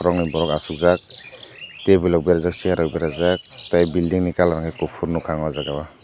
nog ni borok asokjak tebil rok berajak chair rok berajak tei bilding colour hai kopor nogka ang o jaga o.